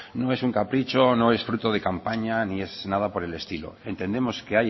no es un capricho no es fruto de campaña ni es nada por el estilo entendemos que